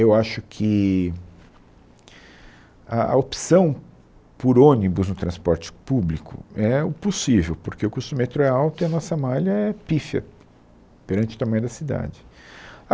Eu acho que a a opção por ônibus no transporte público é o possível, porque o custo do metrô é alto e a nossa malha é pífia perante o tamanho da cidade. A